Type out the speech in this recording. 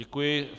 Děkuji.